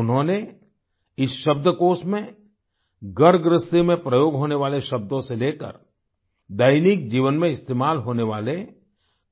उन्होंने इस शब्दकोष में घरगृहस्थी में प्रयोग होने वाले शब्दों से लेकर दैनिक जीवन में इस्तेमाल होने वाले